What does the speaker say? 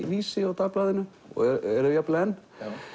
Vísi og Dagblaðinu og eru jafnvel enn